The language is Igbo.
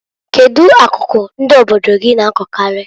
Kedu akụkụ ndi obodo gi na-akọkarị?